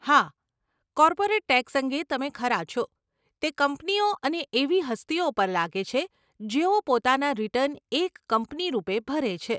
હા, corporate tax અંગે તમે ખરા છો, તે કંપનીઓ અને એવી હસ્તીઓ પર લાગે છે જેઓ પોતાના રીટર્ન એક કંપની રૂપે ભરે છે.